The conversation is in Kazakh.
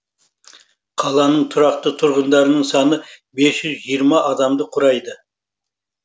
қаланың тұрақты тұрғындарының саны бес жүз жиырма адамды құрайды